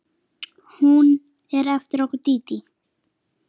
Hún er eftir okkur Dídí.